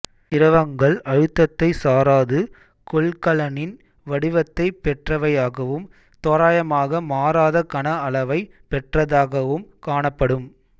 திரவங்கள் அழுத்தத்தைச் சாராது கொள்கலனின் வடிவத்தைப் பெற்றவையாகவும் தோராயமாக மாறாத கன அளவைப் பெற்றதாகவும் காணப்படும்